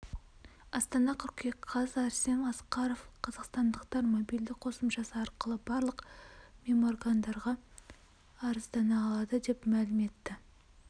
астана қыркүйек қаз арсен асқаров қазақстандықтар мобильді қосымшасы арқылы барлық меморгандарға арыздана алады деп мәлім етті